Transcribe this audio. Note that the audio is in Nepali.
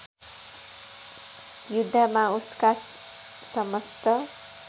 युद्धमा उसका समस्त